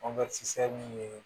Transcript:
min ye